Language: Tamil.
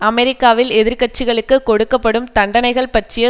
அமெரிக்காவில் எதிர்க்கட்சிகளுக்கு கொடுக்க படும் தண்டனைகள் பற்றிய